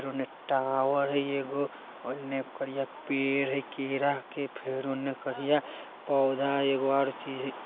फेर ओने टावर हय एगो ओने करिया पेड़ हय केरा के फेर ओने करिया पौधा हय एगो आर चीज --